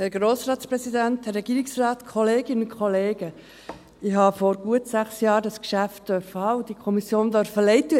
Vor gut sechs Jahren hatte ich dieses Geschäft bereits und durfte dazu die Kommission leiten.